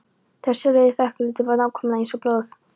Þessi rauði þekjulitur var nákvæmlega eins og blóð!